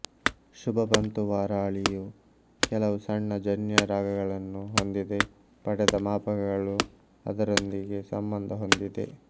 ಶುಭಪಂತುವಾರಾಳಿಯು ಕೆಲವು ಸಣ್ಣ ಜನ್ಯ ರಾಗಗಳನ್ನು ಹೊಂದಿದೆ ಪಡೆದ ಮಾಪಕಗಳು ಅದರೊಂದಿಗೆ ಸಂಬಂಧ ಹೊಂದಿದೆ